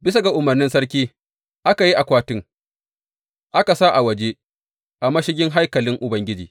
Bisa ga umarnin sarki, aka yi akwati aka sa a waje, a mashigin haikalin Ubangiji.